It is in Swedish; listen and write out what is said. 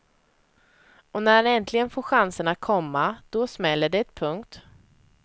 Och när han äntligen får chanserna, komma då smäller det. punkt